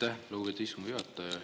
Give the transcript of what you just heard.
Aitäh, lugupeetud istungi juhataja!